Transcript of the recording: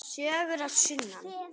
Sögur að sunnan.